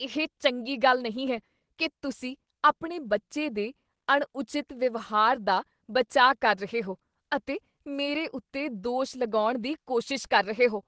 ਇਹ ਚੰਗੀ ਗੱਲ ਨਹੀਂ ਹੈ ਕੀ ਤੁਸੀਂ ਆਪਣੇ ਬੱਚੇ ਦੇ ਅਣਉਚਿਤ ਵਿਵਹਾਰ ਦਾ ਬਚਾਅ ਕਰ ਰਹੇ ਹੋ ਅਤੇ ਮੇਰੇ ਉੱਤੇ ਦੋਸ਼ ਲਗਾਉਣ ਦੀ ਕੋਸ਼ਿਸ਼ ਕਰ ਰਹੇ ਹੋ।